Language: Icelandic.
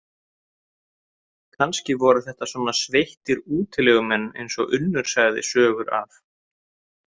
Kannski voru þetta svona sveittir útilegumenn eins og Unnur sagði sögur af.